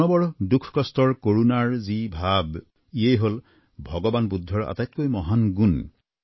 মানৱৰ দুখ কষ্ট আৰু কৰুণাৰ যি ভাৱ ইয়েই হল ভগবান বুদ্ধৰ আটাইতকৈ ডাঙৰ গুণ